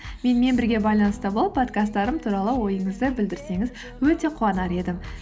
менімен бірге байланыста болып подкасттарым туралы ойыңызды білдірсеңіз өте қуанар едім